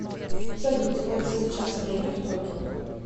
салют сколько сейчас время в токио